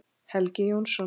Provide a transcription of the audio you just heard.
Helgi Jónsson